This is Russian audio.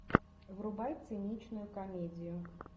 врубай циничную комедию